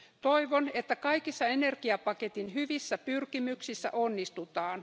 Toivon, että kaikissa energiapaketin hyvissä pyrkimyksissä onnistutaan.